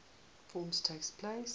forms takes place